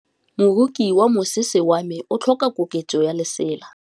Moroki wa mosese wa me o tlhoka koketsô ya lesela.